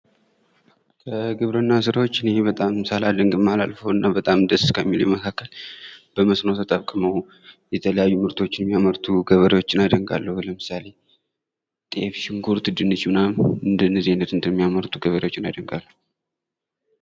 ከግብርና ስራዎች እኔ በጣም ደስ ከሚለኝ እና ሳላደንቅ ከማላልፈው መካከል በመስኖ ተጠቅመው የተለያዩ ምርቶችን የሚያመሩ ገበሬዎችን አደንቃለሁ ለምሳሌ ጤፍ ሽንኩርት ፣ ድንች እና ምናምን እንደነዚህ አይነት እንደሚያመርቱ እና ገበሬዎችን አደንቃለሁ።